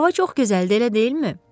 Hava çox gözəldir, elə deyilmi?